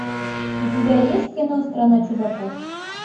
у тебя есть кино страна чудаков